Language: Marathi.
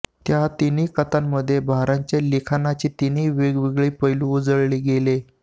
त्या तीनही कथांमध्ये भारांच्या लिखाणाचे तीन वेगवेगळे पैलू उजळले गेले